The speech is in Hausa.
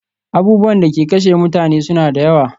Abubuwan da ke kashe mutane suna da yawa